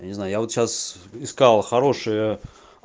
я не знаю я вот сейчас искал хорошое